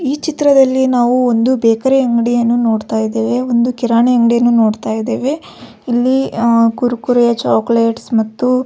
ಈ ಚಿತ್ರದಲ್ಲಿ ನಾವು ಒಂದು ಬೇಕರಿ ಅಂಗಡಿಯನ್ನು ನೋಡತ್ತಾ ಇದೀವಿ ಒಂದು ಕಿರಾಣಿ ಅಂಗಡಿಯನ್ನು ನೋಡತ್ತಾ ಇದೀವಿ ಇಲ್ಲಿ ಅಹ್ ಕುರ್ಕುರೆ ಚೊಕೊಲೇಟ್ಸ್ ಮತ್ತು --